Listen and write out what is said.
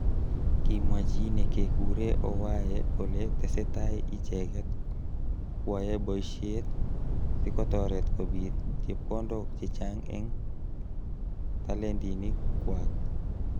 Kimwa chi nekekure Owae kole tesetai icheket kwoe boishet sikotoret kobit chepkondok chechang eng talentinik kwak.